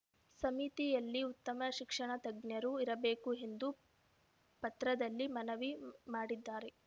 ಸಮಿತಿಯಲ್ಲಿ ಉತ್ತಮ ಶಿಕ್ಷಣ ತಜ್ಞರು ಇರಬೇಕು ಎಂದು ಪತ್ರದಲ್ಲಿ ಮನವಿ ಮಾಡಿದ್ದಾರೆ